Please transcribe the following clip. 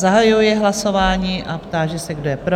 Zahajuji hlasování a táži se, kdo je pro?